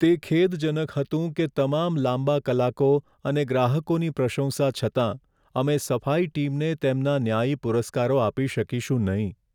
તે ખેદજનક હતું કે તમામ લાંબા કલાકો અને ગ્રાહકોની પ્રશંસા છતાં, અમે સફાઈ ટીમને તેમના ન્યાયી પુરસ્કારો આપી શકીશું નહીં.